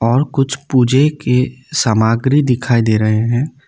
और कुछ पूजे के सामाग्री दिखाई दे रहे हैं।